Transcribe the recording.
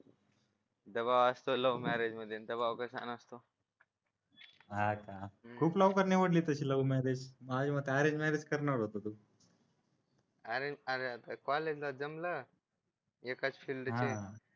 दबाव असतो love marriage मध्ये दबाव कसा नसतो. आजच्या खूप लवकर निवडली तशी लव मॅरेज माझ्या मते अरेंज मॅरेज करणार होता तू अरेंज काय रे आता कॉलेजला जमलं एकाच फिल्डचे